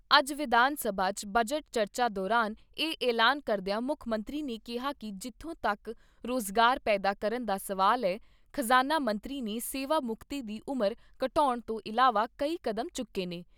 ਅੱਜ ਵਿਧਾਨ ਸਭਾ 'ਚ ਬਜਟ ਚਰਚਾ ਦੌਰਾਨ ਇਹ ਐਲਾਨ ਕਰਦਿਆਂ ਮੁੱਖ ਮੰਤਰੀ ਨੇ ਕਿਹਾ ਕਿ ਜਿੱਥੋਂ ਤੱਕ ਰੁਜ਼ਗਾਰ ਪੈਦਾ ਕਰਨ ਦਾ ਸਵਾਲ ਐ, ਖਜ਼ਾਨਾ ਮੰਤਰੀ ਨੇ ਸੇਵਾ ਮੁਕਤੀ ਦੀ ਉਮਰ ਘਟਾਉਣ ਤੋਂ ਇਲਾਵਾ ਕਈ ਕਦਮ ਚੁੱਕੇ ਨੇ।